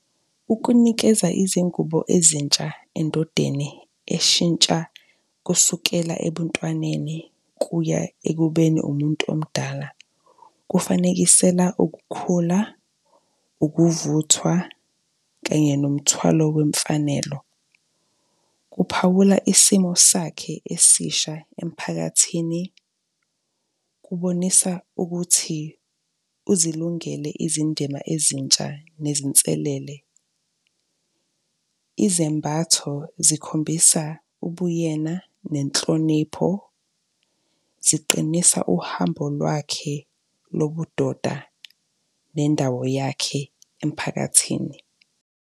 Ukunikeza izingubo ezintsha endodeni eshintsha kusukela ebuntwaneni kuya ekubeni umuntu omdala, kufanekisela ukukhula, ukuvuthwa kanye nomthwalo wemfanelo. Kuphawula isimo sakhe esisha emphakathini, kubonisa ukuthi uzilungele izindima ezintsha nezinselele. Izembatho zikhombisa ubuyena nenhlonipho, ziqinisa uhambo lwakhe lobudoda nendawo yakhe emphakathini.